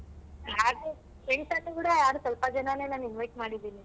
ಹ್ಯಾಗೂ friends ಅಲ್ಲಿ ಕೂಡ ಸ್ವಲ್ಪ ಜನನೆ ನಾನ್ invite ಮಾಡಿದ್ದೀನಿ.